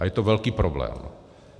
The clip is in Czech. A je to velký problém.